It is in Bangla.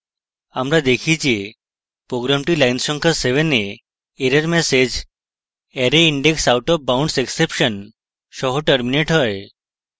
আমরা দেখি যে program line সংখ্যা 7 we error ম্যাসেজ arrayindexoutofboundsexception সহ terminates হয়